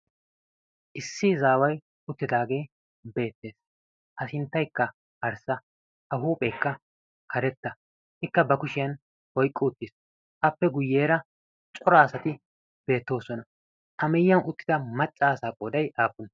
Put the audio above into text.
issi izaawai uttidaagee beettees. ha sinttaikka harssa a huupheekka karetta ikka ba kushiyan hoiqqu uttiis. appe guyyeera coraasati beettoosona. ameyiyan uttida maccaasaa qoodai aappune?